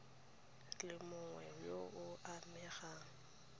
le mongwe yo o amegang